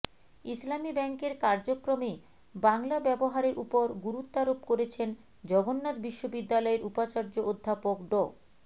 ইসলামী ব্যাংকের কার্যক্রমে বাংলা ব্যবহারের ওপর গুরুত্বারোপ করেছেন জগন্নাথ বিশ্ববিদ্যালয়ের উপাচার্য অধ্যাপক ড